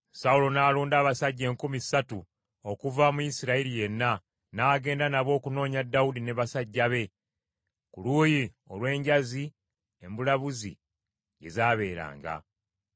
Sawulo n’alonda abasajja enkumi ssatu okuva mu Isirayiri yenna, n’agenda nabo okunoonya Dawudi n’abasajja be, ku luuyi olw’enjazi embulabuzi gye Zaabeeranga.